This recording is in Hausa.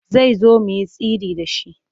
Zai zo mu yi sirri da shi.